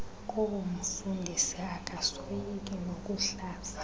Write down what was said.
koomfundisi akasoyiki nokuhlaza